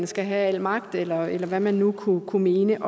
skal have al magt eller eller hvad man nu kunne kunne mene